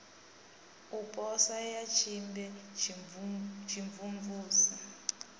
u posa ya tsimbe tshimvumvusi